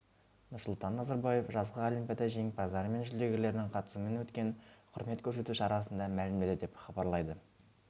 нұрсұлтан назарбаев жазғы олимпиада жеңімпаздары мен жүлдергерлерінің қатысуымен өткен құрмет көрсету шарасында мәлімдеді деп хабарлайды